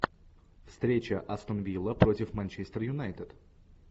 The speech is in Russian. встреча астон вилла против манчестер юнайтед